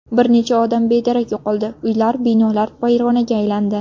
Bir necha odam bedarak yo‘qoldi, uylar, binolar vayronaga aylandi.